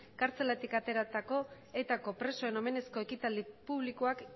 kartzelatik ateratako etako presoen omenezko ekitaldi publikoak